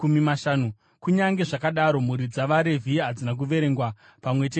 Kunyange zvakadaro, mhuri dzavaRevhi hadzina kuverengwa pamwe chete navamwe.